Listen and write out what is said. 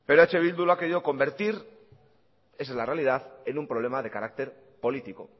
pero eh bildu lo ha querido convertir esa es la realidad en un problema de carácter político